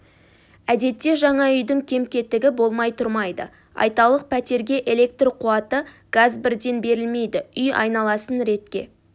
әдетте жаңа үйдің кем-кетігі болмай тұрмайды айталық пәтерге электр қуаты газ бірден берілмейді үй айналасын ретке